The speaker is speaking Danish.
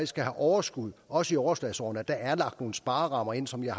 skal have overskud også i overslagsårene er lagt nogle sparerammer ind som jeg